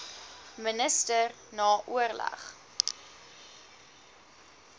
minister na oorleg